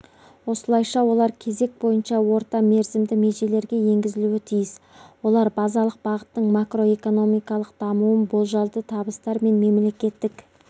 осылайша олар кезек бойынша орта мерзімді межелерге енгізілуі тиіс олар базалық бағыттың макроэкономикалық дамуын болжалды табыстар мен мемлекеттік